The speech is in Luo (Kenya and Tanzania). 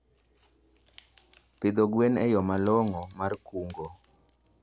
Pidho gwen en yo malong'o mar kungo.